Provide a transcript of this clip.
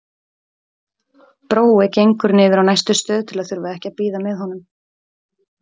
Brói gengur niður á næstu stöð til að þurfa ekki að bíða með honum.